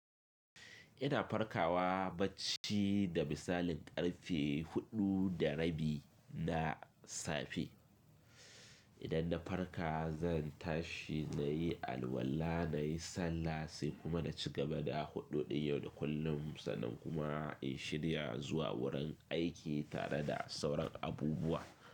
Ina farkawa bacci da misalin karfe huɗu da rabi na safe. Idan na farka zan tashi na yi alwala, na yi sallah sai kuma na ci gaba da huɗu ɗin yau da kullum sannan kuma in shirya zuwa wurin aiki tare da sauran abubuwa.